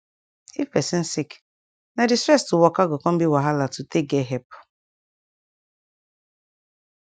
if pesin sick na d stress to waka go come be wahala to take get epp